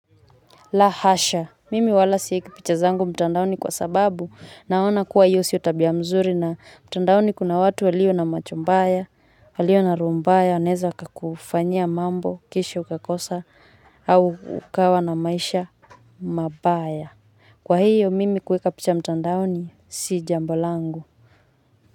La hasha, mimi wala sieki picha zangu mtandaoni kwa sababu naona kuwa hiyo sio tabia mzuri na mtandaoni kuna watu walio na macho mbaya, walio na roho mbaya, wanaeza kakufanyia mambo, kisha ukakosa, au ukawa na maisha, mabaya. Kwa hiyo, mimi kuweka picha mtandaoni si jambo langu.